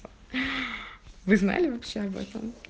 вы знали вообще об этом